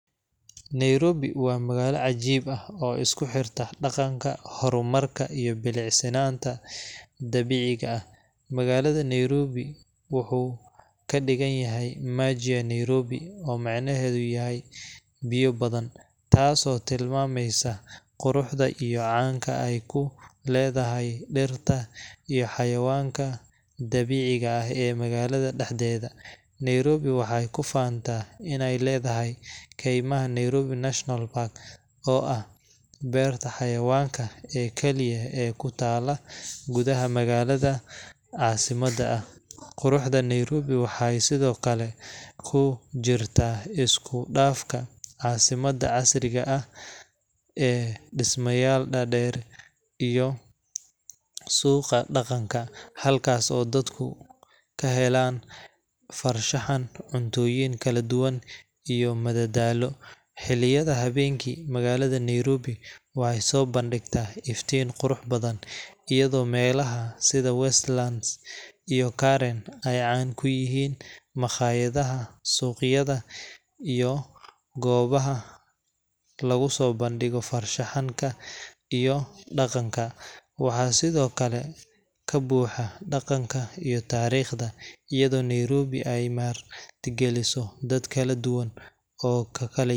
Nairobi waa magaalo cajiib ah oo isku xirta dhaqanka, horumarka, iyo bilicsanaanta dabiiciga ah. Magaca Nairobi wuxuu ka dhigan yahay Maji ya Nairobi oo micnaheedu yahay Biyo badan, taasoo tilmaamaysa quruxda iyo caanka ay ku leedahay dhirta iyo xayawaanka dabiiciga ah ee magaalada dhexdeeda. Nairobi waxay ku faantaa inay leedahay keymaha Nairobi National Park, oo ah beerta xayawaanka ee kaliya ee ku taalla gudaha magaalo caasimad ah. Quruxda Nairobi waxay sidoo kale ku jirtaa isku dhafka caasimadda casriga ah ee dhismayaal dhaadheer iyo suuqa dhaqanka, halkaas oo dadku ka helaan farshaxan, cuntooyin kala duwan, iyo madadaalo. Xilliyada habeenkii, magaalada Nairobi waxay soo bandhigtaa iftiin qurux badan, iyadoo meelaha sida Westlands iyo Karen ay caan ku yihiin makhaayadaha, suuqyada, iyo goobaha lagu soo bandhigo farshaxanka iyo dhaqanka. Waxaa sidoo kale ka buuxa dhaqanka iyo taariikhda, iyadoo Nairobi ay martigeliso dad kala duwan oo ka kala yimid.